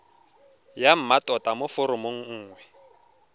ya mmatota mo foromong nngwe